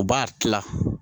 U b'a tila